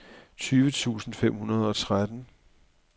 tyve tusind fem hundrede og tretten